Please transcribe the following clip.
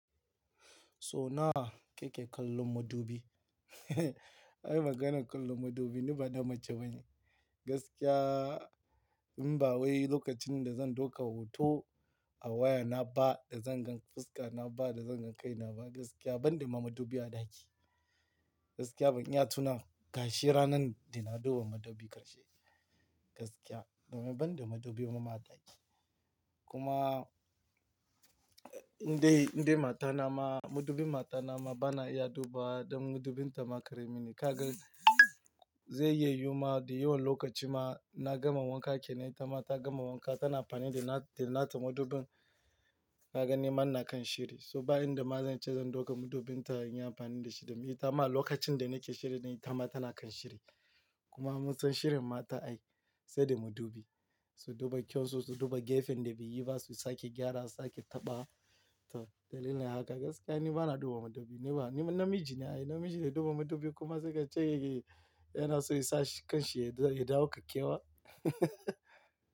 So nawa keke kallon madubi. Ai maganar kallon madubi, ni bana mace bane. Gaskiya in ba wai lokacin da zan dauka hoto a waya na ba, da zan ga fuska na ba, da zan ga kai na ba, gaskiya ban da ma madubi a ɗaki. Gaskiya ban iya tuna gashi ranan da na duba madubi ƙarshe. Gaskiya, ban da madubi kuma a ɗaki. Kuma indai, indai matana ma, madubin matana ma bana iya duba don madubin ta ma kare mini. Kaga zai yi yiwuwa da yiwon lokaci ma na gama wanka kenan, ta ma ta gama wanka tana amfani da na, da na ta madubin na gani man na kan shirri. So bayan da ma zan ce zan dauka madubin ta in yi amfani da shi, domin ita ma lokacin da nake shirye dai ita ma tana kan shirye. Kuma munsan shirin mata ai sai da madubi. Su duba kyau sosai, su duba gefen da biyu ba su sake gyara, sake taɓa. To dalilin haka gaskiya ni bana duba madubi. Ni ba, ni namiji na ne, namiji da duba madubi kuma sai ka ce yana so ya sa ƙanshi ya, ya ɗauka kyewa.